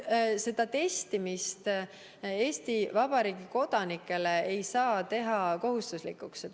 Testimist ei saa Eesti Vabariigi kodanikele teha kohustuslikuks.